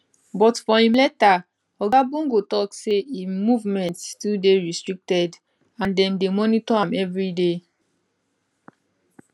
but for im letter oga bongo tok say im movements still dey restricted and dem dey monitor am evriday